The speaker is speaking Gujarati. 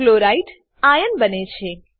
Chlorideસીએલ આયન બને છે